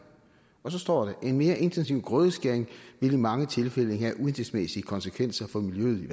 og så står der en mere intensiv grødeskæring vil i mange tilfælde have uhensigtsmæssige konsekvenser for miljøet i